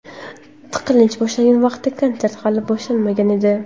Tiqilinch boshlangan vaqtda konsert hali boshlanmagan edi.